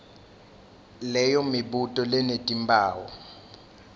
leyo mibuto lenetimphawu